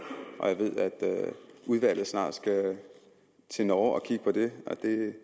og jeg ved at udvalget snart skal til norge og kigge på det og det